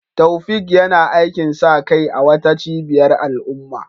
Taofiq yana aikin sa kai a wata cibiyar al'umma